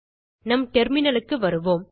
நம் terminalக்கு வருவோம்